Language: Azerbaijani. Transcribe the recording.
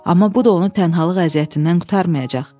Amma bu da onu tənhalıq əziyyətindən qurtarmayacaq.